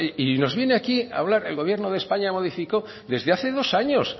y nos viene aquí a hablar el gobierno de españa modificó desde hace dos años